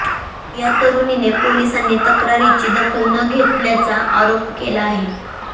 या तरूणीने पोलिसांनी तक्रारीची दखल न घेतल्याचा आरोप केला होता